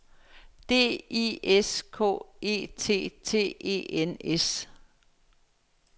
D I S K E T T E N S